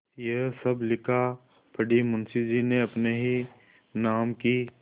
यह सब लिखापढ़ी मुंशीजी ने अपने ही नाम की क्